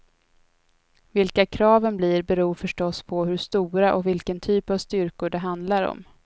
Vilka kraven blir beror förstås på hur stora och vilken typ av styrkor det handlar om.